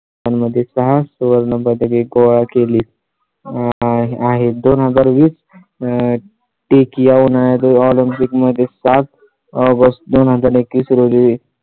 मध्ये सहा सुवर्णपदके गोळा केली आहे दोन हजार. वीस आह ठीक येऊ नये तो Olympic मध्ये सात बस दोन हजार एकवीस रोजी